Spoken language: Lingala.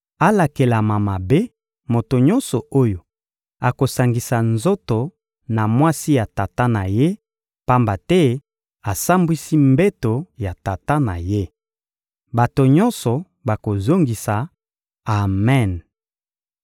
«Alakelama mabe moto nyonso oyo akosangisa nzoto na mwasi ya tata na ye, pamba te asambwisi mbeto ya tata na ye!» Bato nyonso bakozongisa: «Amen!»